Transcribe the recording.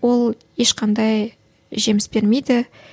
ол ешқандай жеміс бермейді